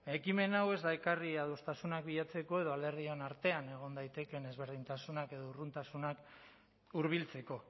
ekimen hau ez da ekarri adostasunak bilatzeko edo alderdion artean egon daitezkeen ezberdintasunak edo urruntasunak hurbiltzeko